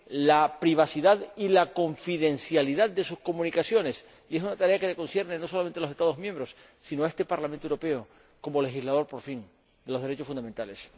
la privacidad y la confidencialidad de sus comunicaciones. Es una tarea que concierne no solo a los Estados miembros, sino a este Parlamento Europeo como legislador, por fin, de los derechos fundamentales...